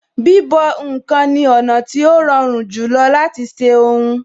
Bíbọ̀ ǹkan ni ọ̀nà tí ó rọrùn jùlọ láti ṣe ohun